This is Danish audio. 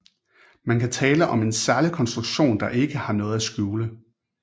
Man kan tale om en ærlig konstruktion der ikke har noget at skjule